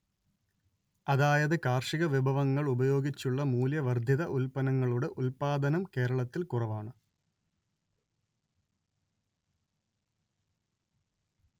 അതായത് കാർഷികവിഭവങ്ങൾ ഉപയോഗിച്ചുള്ള മൂല്യവർദ്ധിത ഉൽപ്പന്നങ്ങളുടെ ഉല്പാദനം കേരളത്തിൽ കുറവാണ്